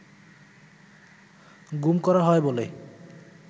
গুম করা হয় বলে